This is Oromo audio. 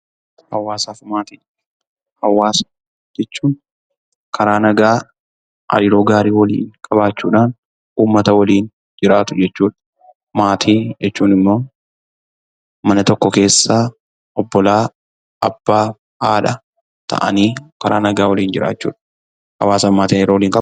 Hawaasa jechuun karaa nagaa hariiroo gaarii qabaachuudhaan uummata waliin jiraatu jechuudha. Maatii jechuun immoo mana tokko keessa obbolaa, abbaa, haadha ta'anii karaa nagaa waliin jiraachuudha. Hawaasaa fi maatiin hariiroo waliin qabuu?